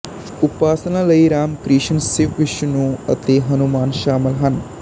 ਉਪਾਸਨਾ ਲਈ ਰਾਮ ਕ੍ਰਿਸ਼ਨ ਸ਼ਿਵਵਿਸ਼ਨੂੰ ਅਤੇ ਹਨੂੰਮਾਨ ਸ਼ਾਮਲ ਹਨ